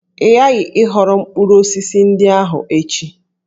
Ị ghaghị ịghọrọ mkpụrụ osisi ndị ahụ echi!